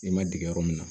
I ma dege yɔrɔ min na